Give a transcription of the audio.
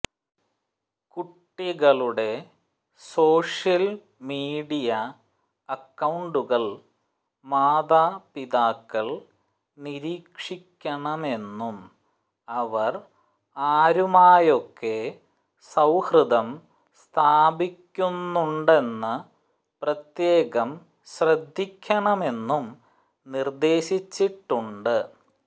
കുട്ടികളുടെ social media അക്കൌണ്ടുകൾ മാതാപിതാക്കൾ നിരീക്ഷിക്കണമെന്നും അവർ ആരുമായൊക്കെ സൌഹൃദം സ്ഥാപിക്കുന്നുണ്ടെന്ന് പ്രത്യേകം ശ്രദ്ധിക്കണമെന്നും നിർദേശിച്ചിട്ടുണ്ട്